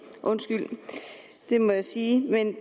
undskyld men det må jeg sige men